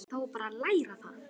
Þá er bara að læra það!